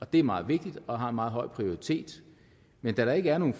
det er meget vigtigt og har en meget høj prioritet men da der ikke er nogen